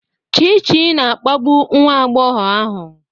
Chichi na-akpagbu nwa agbọghọ ahụ.